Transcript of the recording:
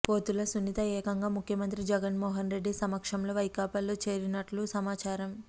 పోతుల సునీత ఏకంగా ముఖ్యమంత్రి జగన్మోహన్ రెడ్డి సమక్షం లో వైకాపా లో చేరిననున్నట్లు సమాచారం